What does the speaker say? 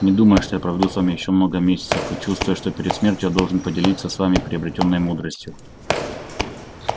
не думаю что я проведу с вами ещё много месяцев и чувствую что перед смертью я должен поделиться с вами приобретённой мудростью